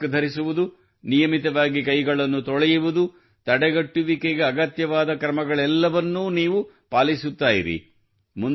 mask ಧರಿಸುವುದು ನಿಯಮಿತವಾಗಿ ಕೈಗಳನ್ನು ತೊಳೆಯುವುದು ತಡೆಗಟ್ಟುವಿಕೆಗೆ ಅಗತ್ಯವಾದ ಕ್ರಮಗಳೆಲ್ಲವನ್ನೂ ನೀವು ಪಾಲಿಸುತ್ತಿರಿ